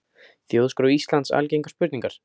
Þjóðskrá Íslands Algengar spurningar.